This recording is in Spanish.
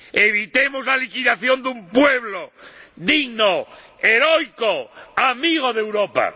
¡Evitemos la liquidación de un pueblo digno, heroico, amigo de Europa!